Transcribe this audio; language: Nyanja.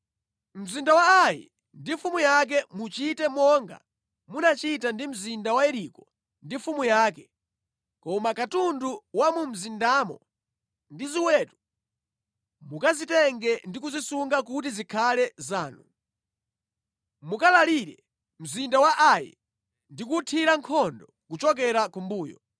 Mzinda wa Ai ndi mfumu yake muchite monga munachita ndi mzinda wa Yeriko ndi mfumu yake, koma katundu wa mumzindamo ndi zoweta mukazitenge ndi kuzisunga kuti zikhale zanu. Mukalalire mzinda wa Ai ndi kuwuthira nkhondo kuchokera kumbuyo.”